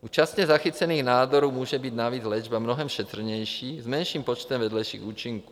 U časně zachycených nádorů může být navíc léčba mnohem šetrnější, s menším počtem vedlejších účinků.